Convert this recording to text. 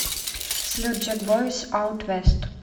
салют джекбойс аут вест